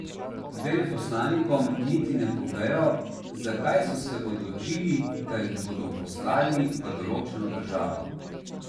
Veleposlanikom niti ne povejo, zakaj so se odločili, da jih bodo poslali v določeno državo.